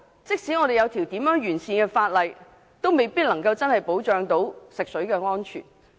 即使多麼完善的法例，也未必能夠真的保障食水安全。